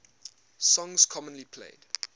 songs commonly played